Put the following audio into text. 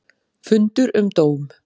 Fundur um dóm